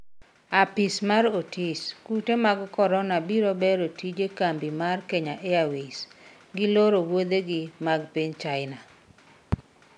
apisa mar Otis:Kute mag Korona biro bero tije kambi mar Kenya Airways ,giloro wuodhegi mag piny China